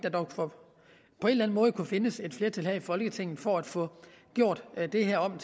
på en eller anden måde kunne findes et flertal her i folketinget for at få gjort det her om